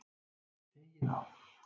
Teygið á.